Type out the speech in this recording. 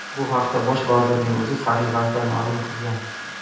Bu haqda bosh vazirning o‘zi sahifasida ma’lum qilgan.